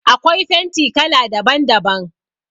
Akwai fenti kala daban daban.